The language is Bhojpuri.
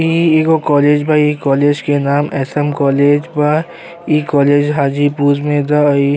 इ एगो कॉलेज बा। इ कॉलेज के नाम एस.एम कॉलेज बा। इ कॉलेज हाजीपुर में बा इ ।